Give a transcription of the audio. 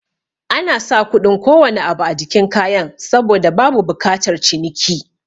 Anasa kuɗin kowane abu a jikin kayan saboda babu bukatar ciniki